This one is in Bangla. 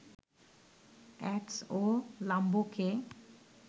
অ্যাডস ও লাম্বোকে